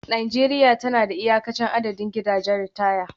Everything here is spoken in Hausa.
Najeriya tana da iyakacin adadin gidajen ritaya